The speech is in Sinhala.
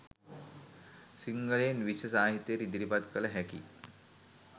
සිංහලයෙන් විශ්ව සාහිත්‍යයට ඉදිරිපත් කළ හැකි